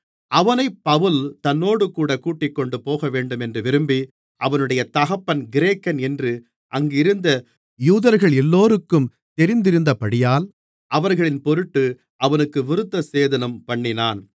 அவனைப் பவுல் தன்னோடுகூட கூட்டிக்கொண்டு போகவேண்டுமென்று விரும்பி அவனுடைய தகப்பன் கிரேக்கன் என்று அங்கிருந்த யூதர்களெல்லோருக்கும் தெரிந்திருந்தபடியால் அவர்களின் பொருட்டு அவனுக்கு விருத்தசேதனம்பண்ணினான்